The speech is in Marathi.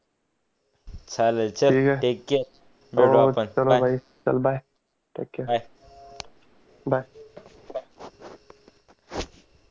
हा चल टेक केअर चल बाय टेक केयर बाय